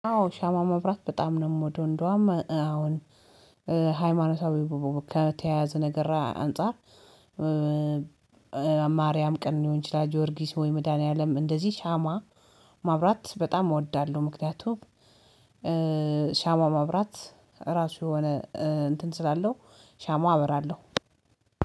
አዎ ሻማ ማብራት በጣም ነው የምወደው እንደውም አሁን ሃይማኖታዊ ከተያያዘ ነገር አንፃር። ማርያም ቀን ሊሆን ይችላል ጆርጊስ ወይ መድኃኒዓለም እንደዚህ ሻማ ማብራት በጣም እወዳለሁ። ምክንያቱም ሻማ ማብራት ራሱ የሆነ እንትን ስላለው ሻማ አበራለሁ